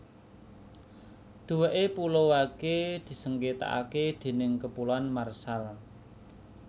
Duweke Pulau Wake disengketakake déning Kepulauan Marshall